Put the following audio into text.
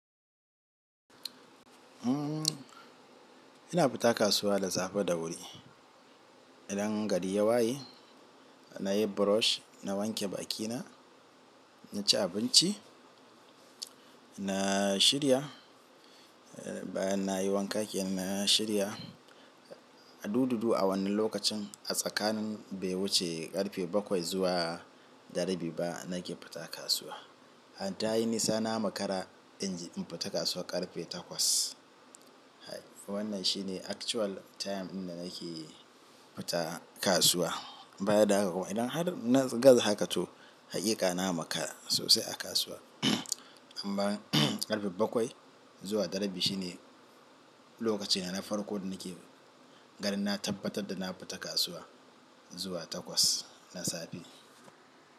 Ina fita kasuwa da safe da wuri idan gari ya waye, na yi brush, na wanke bakina, na ci abinci, na shirya, eh, bayan na yi wanka kenan na shirya. A dududu, a wannan lokacin, a tsakanin bai wuce ƙarfe bakwai zuwa da rabi ba, na ke fita kasuwa. A tayi nisa na makara in je in fita kasuwa ƙarfe takwas. Wannan shine actual time in da nake fita kasuwa. Bayan da haka kuma idan har na gaza haka to, haƙiƙa na makara sosai a kasuwa. Amma ƙarfe bakwai zuwa da rabi shi ne lokaci na farko da nake ganin na tabbatar da na fita kasuwa zuwa takwas na safe.